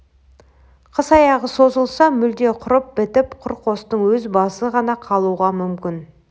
қыс аяғы созылса мүлде құрып бітіп құр қостың өз басы ғана қалуға мүмкін